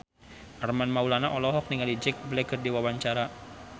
Armand Maulana olohok ningali Jack Black keur diwawancara